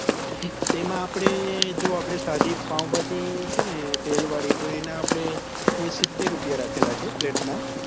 તેમાં આપડે જો આપડે સદી પાવભાજી છે ને તેલ વળી તો એના આપડે સિત્તેર રૂપિયા રાખેલા છે plate નાં